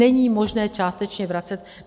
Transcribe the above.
Není možné částečně vracet.